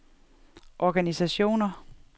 organisationer